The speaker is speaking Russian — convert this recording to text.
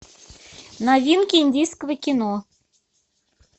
новинки индийского кино